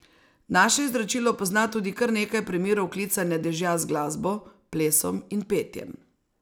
Naše izročilo pozna tudi kar nekaj primerov klicanja dežja z glasbo, plesom in petjem.